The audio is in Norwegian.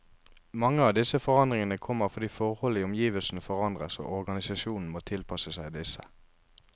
Mange av disse forandringene kommer fordi forhold i omgivelsene forandres, og organisasjonen må tilpasse seg disse.